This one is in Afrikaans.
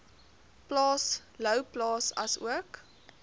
plaas louwplaas asook